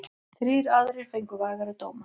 Þrír aðrir fengu vægari dóma.